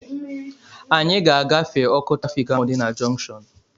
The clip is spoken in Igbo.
Anyị ga-agafe ọkụ trafịk ahụ dị na junkshọnu